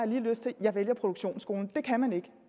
lige lyst til jeg vælger produktionsskolen det kan man ikke